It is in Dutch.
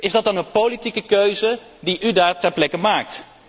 Is dat dan een politieke keuze die u daar ter plekke maakt?